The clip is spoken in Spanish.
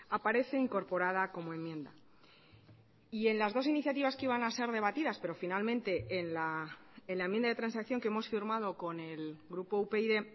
aparece incorporada como enmienda y en las dos iniciativas que iban a ser debatidas pero finalmente en la enmienda de transacción que hemos firmado con el grupo upyd